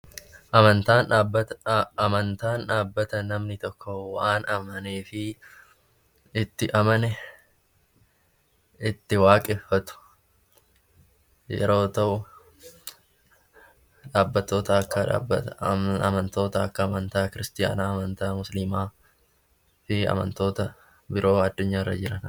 Amantaan dhaabbata namni tokko waan amanee fi itti amane itti waaqeffatu yeroo ta'u, dhaabbatoota akka amantoota akka amantaa kiristaanaa, amantaa musliimaa fi amantoota biroo addunyaarra jiranidha.